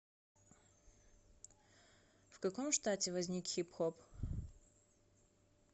в каком штате возник хип хоп